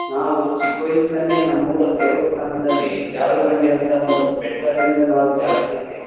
ನನ್ ಮಗಳಿಗೆ ಕರ್ಕೊಂಡು ಹೋಗ್ತೀನಿ ಮೊಮ್ಮಗಳಿಗೆ ಅಕ್ಕಿನು ಆಡ್ತಾಳೆ ಜಾರ್ಬಂಡಿ ಅವು ಇವು ಇರ್ತವಲ್ಲ ಆಟ ಆಡಕ್ಕೆ ಅವೆಲ್ಲ ಆಡಿ ಖುಷಿ ಪಡ್ತಾಳೆ.